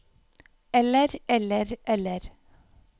eller eller eller